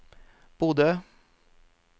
Bodø